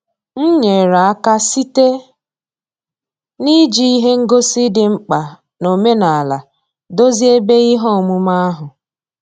M nyere aka site na-iji ihe ngosi dị mkpa n'omenala dozie ebe ihe omume ahụ.